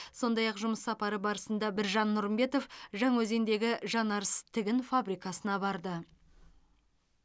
сондай ақ жұмыс сапары барысында біржан нұрымбетов жаңаөзендегі жанарыс тігін фабрикасына барды